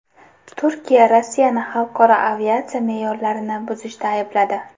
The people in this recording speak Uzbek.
Turkiya Rossiyani xalqaro aviatsiya me’yorlarini buzishda aybladi.